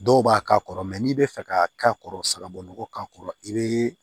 Dɔw b'a k'a kɔrɔ n'i bɛ fɛ ka k'a kɔrɔ sagabugu k'a kɔrɔ i bɛ